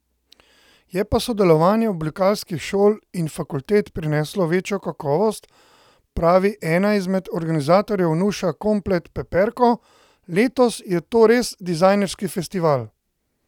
Je pa sodelovanje oblikovalskih šol in fakultet prineslo večjo kakovost, pravi ena izmed organizatorjev Nuša Komplet Peperko: "Letos je to res dizajnerski festival.